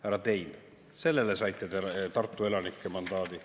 Härra Tein, sellele saite te Tartu elanikelt mandaadi.